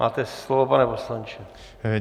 Máte slovo, pane poslanče.